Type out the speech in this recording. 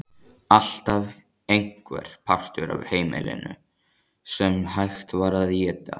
Alltaf einhver partur af heimilinu sem hægt var að éta.